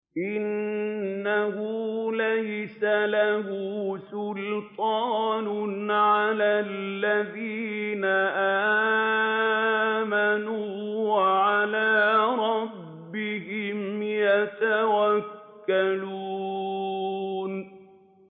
إِنَّهُ لَيْسَ لَهُ سُلْطَانٌ عَلَى الَّذِينَ آمَنُوا وَعَلَىٰ رَبِّهِمْ يَتَوَكَّلُونَ